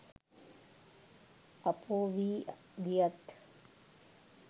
අපෝ වී ගියත්